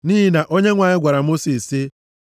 nʼihi na Onyenwe anyị gwara Mosis, sị,